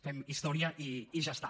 fem història i ja està